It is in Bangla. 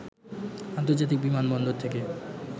আন্তর্জাতিক বিমান বন্দর থেকে